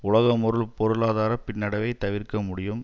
உலகம் ஒரு பொருளாதார பின்னடைவை தவிர்க்க முடியும்